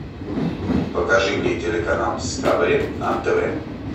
покажи мне телеканал дискавери на тв